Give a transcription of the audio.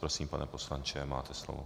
Prosím, pane poslanče, máte slovo.